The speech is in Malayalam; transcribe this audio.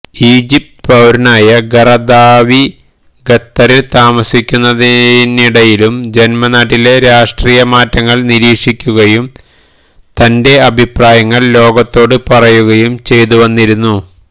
ഈജിപ്ത് പൌരനായ ഖറദാവി ഖത്തറില് താമസിക്കുന്നതിനിടയിലും ജന്മനാട്ടിലെ രാഷ്ട്രീയ മാറ്റങ്ങള് നിരീക്ഷിക്കുകയും തന്റെ അഭിപ്രായങ്ങള് ലോകത്തോട് പറയുകയും ചെയതു വന്നിരുന്നു